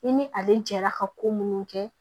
I ni ale jɛra ka ko minnu kɛ